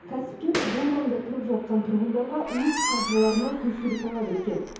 кәсіпкер бұл маңда тұрып жатқан тұрғындарға өз қаржыларына көшуді талап еткен